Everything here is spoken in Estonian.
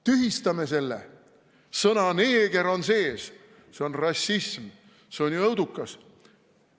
Tühistame selle, sõna "neeger" on sees, see on rassism, see on õudukas.